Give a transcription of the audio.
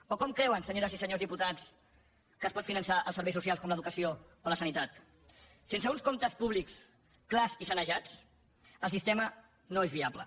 o com creuen senyores i senyors diputats que es poden finançar els serveis socials com l’educació o la sanitat sense uns comptes públics clars i sanejats el sistema no és viable